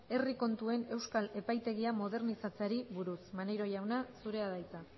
herri kontuen euskal epaitegia modernizatzeari buruz maneiro jauna zurea da hitza